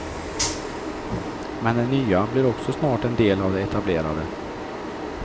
Men det nya blir också snart en del av det etablerade.